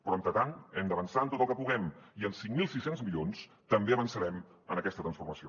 però entretant hem d’avançar en tot el que puguem i amb cinc mil sis cents milions també avançarem en aquesta transformació